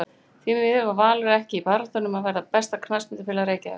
Því miður var Valur ekki í baráttunni um að verða besta knattspyrnufélag Reykjavíkur